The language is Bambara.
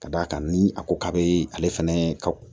Ka d'a kan ni a ko k'a bɛ ale fɛnɛ ka